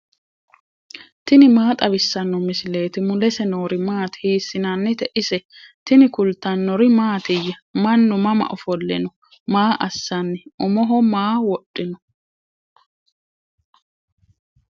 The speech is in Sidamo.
tini maa xawissanno misileeti ? mulese noori maati ? hiissinannite ise ? tini kultannori mattiya? Mannu mama ofole noo? Maa assanni? Umoho maa wodhinno?